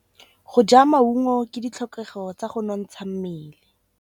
Go ja maungo ke ditlhokegô tsa go nontsha mmele.